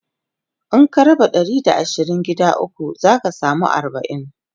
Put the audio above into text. In ka raba Ɗari da asirin gida ukwu zaka samu arbain